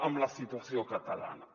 amb la situació catalana